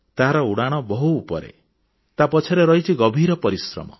ତାହାର ଉଡ଼ାଣ ବହୁତ ଉପରେ ତା ପଛରେ ରହିଛି ଗଭୀର ପରିଶ୍ରମ